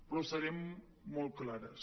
però serem molt clares